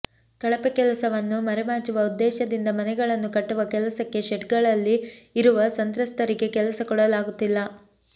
ಕಳಪೆ ಕೆಲಸವನ್ನು ಮರೆ ಮಾಚುವ ಉದ್ದೇಶದಿಂದ ಮನೆಗಳನ್ನು ಕಟ್ಟುವ ಕೆಲಸಕ್ಕೆ ಶೆಡ್ಗಳಲ್ಲಿ ಇರುವ ಸಂತ್ರಸ್ತರಿಗೆ ಕೆಲಸ ಕೊಡಲಾಗುತ್ತಿಲ್ಲ